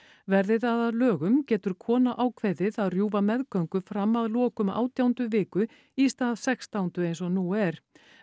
verði það að lögum getur kona ákveðið að rjúfa meðgöngu fram að lokum átjándu viku í stað sextándu eins og nú er